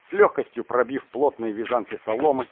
с лёгкостью пробив плотные вязанки соломы